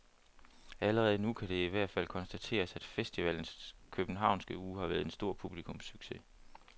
Allerede nu kan det i hvert fald konstateres, at festivalens københavnske uge har været en stor publikumssucces.